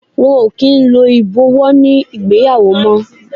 Wọn kì í lo ibowo ní ìgbéyàwó mó.